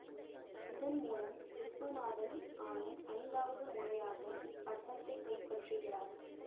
இதன் மூலம் விசுவநாதன் ஆனந்த் ஐந்தாவது முறையாக இப்பட்டத்தை கைப்பற்றுகிறார்